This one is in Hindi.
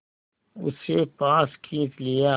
उसे पास खींच लिया